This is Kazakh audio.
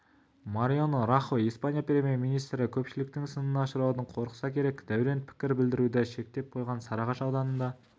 мариано рахой испания премьер-министрі көпшіліктің сынына ұшыраудан қорықса керек дәурен пікір білдіруді шектеп қойған сарыағаш ауданында